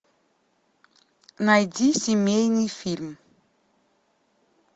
найди семейный фильм